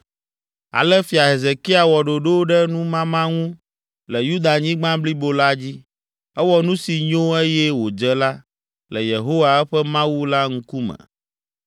Ale Fia Hezekia wɔ ɖoɖo ɖe numama ŋu le Yudanyigba blibo la dzi; ewɔ nu si nyo eye wòdze la, le Yehowa, eƒe Mawu la ŋkume.